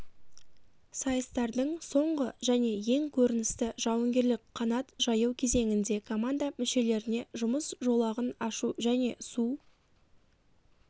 сайыстардың соңғы және ең көріністі жауынгерлік қанат жаю кезеңінде команда мүшелеріне жұмыс жолағын ашу және су